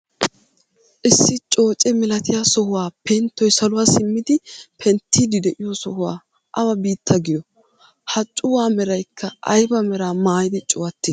Issi cooce milatiyaa sohuwaa penttoy saluwaa simmidi penttiidi de'iyoo sohuwaa awa biittaa giyoo? ha cuwaa meraykka ayba meraa mayidi cuwattii?